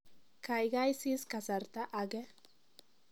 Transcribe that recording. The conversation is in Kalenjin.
kaigai sis kasarta age